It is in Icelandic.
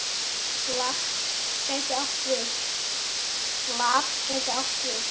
LAT gæti átt við